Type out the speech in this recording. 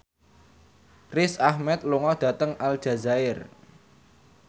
Riz Ahmed lunga dhateng Aljazair